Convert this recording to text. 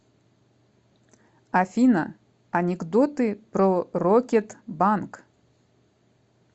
афина анекдоты про рокет банк